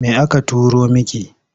Me aka turo miki?